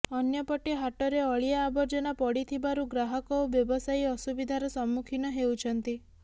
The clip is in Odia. ଅନ୍ୟପଟେ ହାଟରେ ଅଳିଆ ଆବର୍ଜନା ପଡ଼ିଥିବାରୁ ଗ୍ରାହକ ଓ ବ୍ୟବସାୟୀ ଅସୁବିଧାର ସମ୍ମୁଖୀନ ହେଉଛନ୍ତି